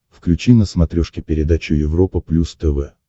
включи на смотрешке передачу европа плюс тв